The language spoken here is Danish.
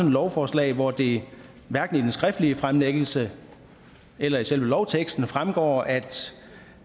et lovforslag hvor det hverken af den skriftlige fremlæggelse eller af selve lovteksten fremgår at